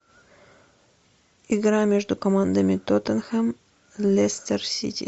игра между командами тоттенхэм лестер сити